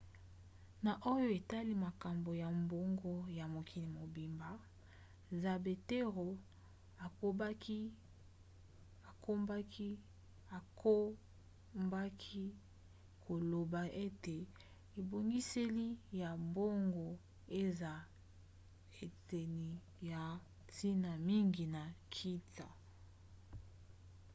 na oyo etali makambo ya mbongo ya mokili mobimba zapatero akobaki koloba ete ebongiseli ya mbongo eza eteni ya ntina mingi ya nkita